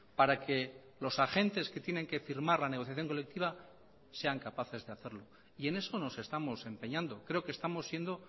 para que los agentes que tienen que firmar la negociación colectiva sean capaces de hacerlo y en eso nos estamos empeñando creo que estamos siendo